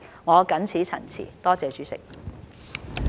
我謹此陳辭。